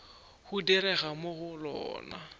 go direga mo go lona